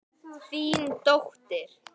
Þín dóttir.